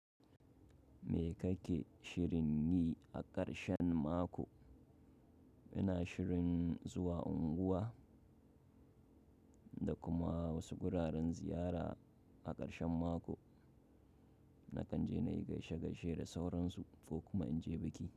Me kake shirin yi a ƙarshen mako? Ina shirin zuwa unguwa da kuma wasu wuraren ziyara a ƙarshen mako. Na kan je na yi gaishe-gaishe da sauransu ko kuma in je biki.